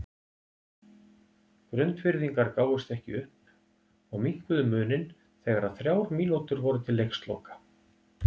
Grundfirðingar gáfust ekki upp og minnkuðu muninn þegar að þrjár mínútur voru til leiksloka.